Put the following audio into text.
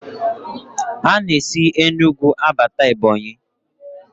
A na-esi Enugwu abata Ebọnyị